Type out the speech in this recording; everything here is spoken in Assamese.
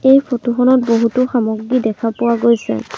এই ফটো খনত বহুতো সামগ্ৰী দেখা পোৱা গৈছে।